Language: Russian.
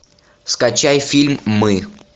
скачай фильм мы